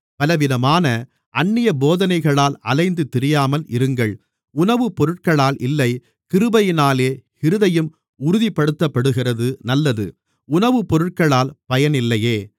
பலவிதமான அந்நிய போதனைகளால் அலைந்து திரியாமல் இருங்கள் உணவுபொருட்களால் இல்லை கிருபையினாலே இருதயம் உறுதிப்படுத்தப்படுகிறது நல்லது உணவுபொருட்களால் பயனில்லையே